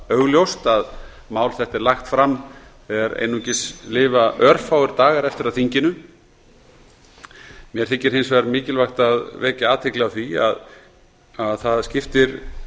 augljóst að mál þetta er lagt fram er einungis lifa örfáir dagar eftir af þinginu mér þykir hins vegar mikilvægt að vekja athygli á því að það skiptir